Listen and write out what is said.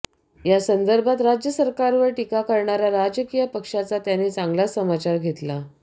यासंदर्भात राज्य सरकारवर टीका करणाऱ्या राजकीय पक्षांचा त्यांनी चांगलाच समाचार घेतला